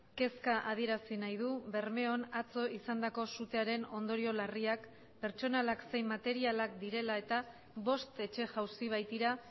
kezka adierazi nahi du bermeon atzo izandako sutearen ondorio larriak pertsonalak zein materialak direla eta bost etxe jauzi baitira